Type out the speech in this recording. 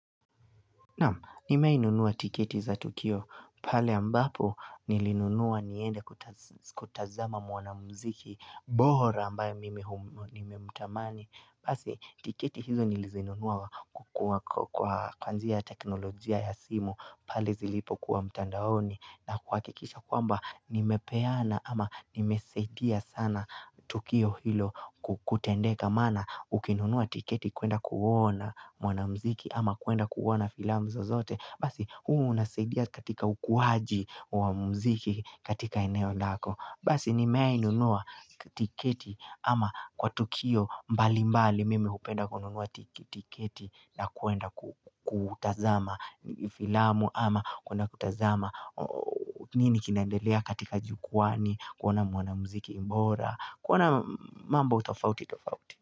Naam, nimeainunua tiketi za Tukio, pale ambapo nilinunua niende kutazama mwana mziki, bora ambayo mimi umutamani Basi tiketi hizo nilizinunua kwa kwanjia teknolojia ya simu pali zilipo kuwa mtandaoni na kua kikisha kwamba nimepeana ama nimesaidia sana Tukio hilo kutendeka mana ukinunua tiketi kuenda kuona mwana mziki ama kuenda kuona filamu zo zote. Basi, huu unasaidia katika ukuhaji wa muziki katika eneo lako Basi, ni mea inunua tiketi ama kwa tukio mbali mbali mimi upenda kununua tiketi na kuenda kutazama filamu ama kuna kutazama nini kinaendelea katika jukwaani kuona mwana muziki bora, kuona mambo tofauti tofauti.